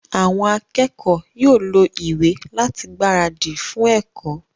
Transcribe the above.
Àwọn akẹ́kọ̀ọ́ yóò lo ìwé láti gbáradì fún ẹ̀kọ́